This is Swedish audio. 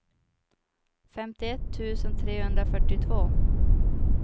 femtioett tusen trehundrafyrtiotvå